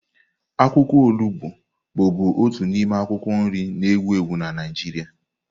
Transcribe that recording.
Akwụkwọ olugbo bụbu otu n'ime akwụkwọ nri na ewu ewu na Naịjirịa.